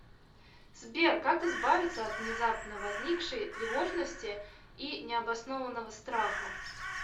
сбер как избавиться от внезапно возникшей тревожности и необоснованного страха